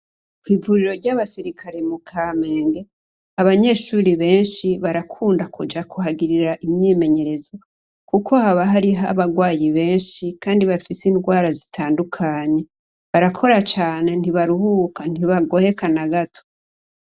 Ivuriro ryabasirikare mu Kamenge, abanyeshure benshi barakunda kuhagirira imyimyerezo kuko haba hari abarwayi benshi kandi bafise ingwara zitandukanye barakora cane ntibaruhuka, ntibagoheka na gato.